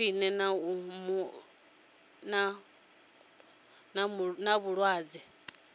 khwine kana u mu lwadza